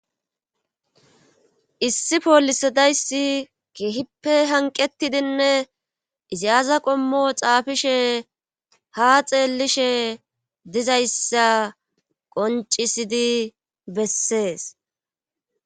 Issi poolisadayssi kehippe hanqetidinne iziyaza qommo xaafishe ha xeellishe dizayssa qoncisidi bessees.